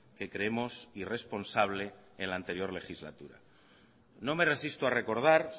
que creemos irresponsable en la anterior legislatura no me resisto a recordar